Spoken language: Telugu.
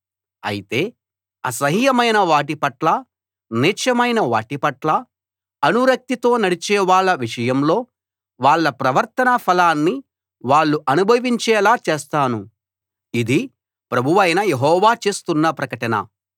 అయితే అసహ్యమైన వాటిపట్ల నీచమైన వాటిపట్ల అనురక్తితో నడిచే వాళ్ళ విషయంలో వాళ్ళ ప్రవర్తన ఫలాన్ని వాళ్ళు అనుభవించేలా చేస్తాను ఇది ప్రభువైన యెహోవా చేస్తున్న ప్రకటన